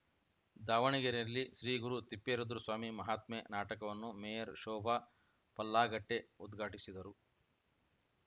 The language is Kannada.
ದಾವಣಗೆರೆಯಲ್ಲಿ ಶ್ರೀಗುರು ತಿಪ್ಪೇರುದ್ರಸ್ವಾಮಿ ಮಹಾತ್ಮೆ ನಾಟಕವನ್ನು ಮೇಯರ್‌ ಶೋಭಾ ಪಲ್ಲಾಗಟ್ಟೆಉದ್ಘಾಟಿಸಿದರು